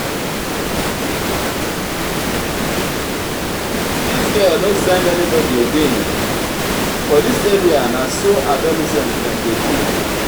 dis girl no send anybodi again for dis area na so adolescent dem dey do?